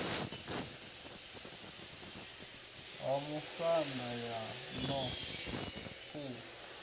ha musanda ho no ṱuwa